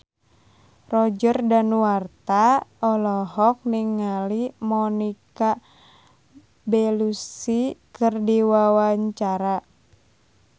Roger Danuarta olohok ningali Monica Belluci keur diwawancara